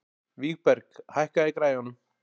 Vígberg, hækkaðu í græjunum.